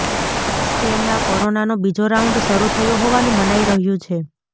સ્પેનમાં કોરોનાનો બીજો રાઉન્ડ શરુ થયો હોવાનું મનાઈ રહ્યું છે